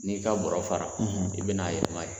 N'i ka barɔ fara i bɛna a yɛlɛma yen